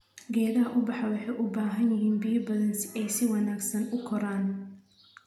Geedaha ubaxa waxay u baahan yihiin biyo badan si ay si wanaagsan u koraan.